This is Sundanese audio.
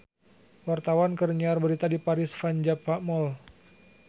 Wartawan keur nyiar berita di Paris van Java Mall